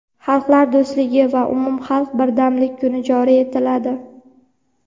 "Xalqlar do‘stligi va umumxalq birdamlik kuni" joriy etiladi.